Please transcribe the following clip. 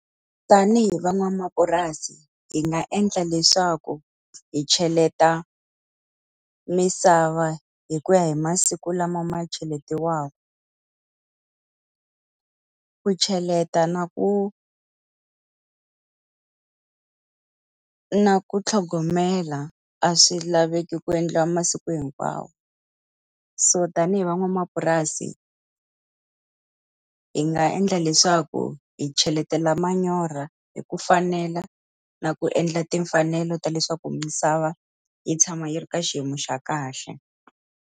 Tanihi van'wamapurasi hi nga endla leswaku hi cheleta misava hi ku ya hi masiku lama ma cheletiwaka ku cheleta na ku a na ku tlhogomela a swi laveki ku endliwa masiku hinkwawo. So tanihi van'wamapurasi, hi nga endla leswaku hi cheletela manyoro hi ku fanela, na ku endla timfanelo ta leswaku misava yi tshama yi ri ka xiyimo xa kahle.